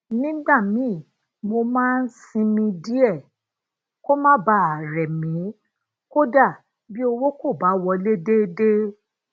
nígbà míì mo máa ń sinmi díè ko má bàa rè mi kódà bí owó ko bá wole deede